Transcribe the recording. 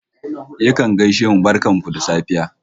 Yakan gaishe mu "barkan ku da safe"